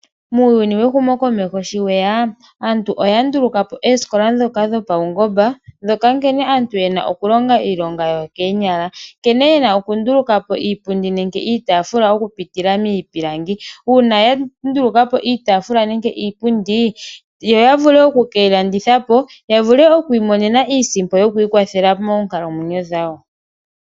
Muuyuni wehumokomeho sho weya aantu oya ndulukapo oosikola ndhoka dho pawungomba ndhoka nkene aantu yena okulonga iilonga yo koonyala nkene yena okndulukapo iipundi nenge iitafula okupitila miipilangi . Uuna ya ndulukapo iitafula nenge iipundi yo yavule oku keyi landithapo yavule oku imonema iisimpo yo ku ikwathela moonkalamwenyo dhawo.